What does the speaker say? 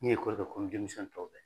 N ye komi demisɛn tɔw bɛɛ.